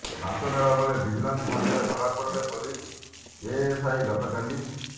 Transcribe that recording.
ଲାଞ୍ଚ ନେବା ବେଳେ ଭିଜିଲାନ୍ସ ହାତରେ ଧରାପଡିଲେ ପୋଲିସ ଏଏସ୍ଆଇ ଗତକାଲି